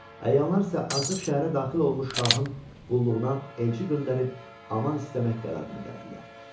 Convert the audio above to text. Əyanlar isə artıq şəhərə daxil olmuş şahın qulluğuna elçi göndərib aman istəmək qərarına gəldilər.